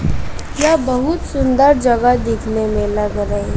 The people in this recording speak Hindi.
यह बहुत सुंदर जगह दिखने में लग र --